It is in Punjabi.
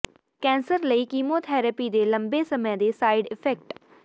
ਕੈਂਸਰ ਲਈ ਕੀਮੋਥੈਰੇਪੀ ਦੇ ਲੰਬੇ ਸਮੇਂ ਦੇ ਸਾਈਡ ਇਫੈਕਟ